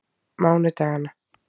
mánudaganna